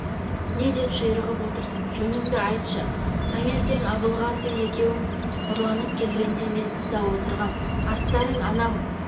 не деп ширығып отырсың жөніңді айтшы таңертең абылғазы екеуің ұрланып келгенде мен тыста отырғам аттарың анау